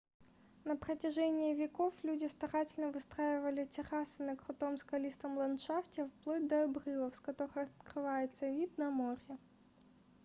на протяжении веков люди старательно выстраивали террасы на крутом скалистом ландшафте вплоть до обрывов с которых открывается вид на море